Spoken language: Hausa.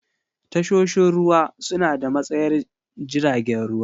Tashoshin ruwa suna da matsayar jiragen ruwa.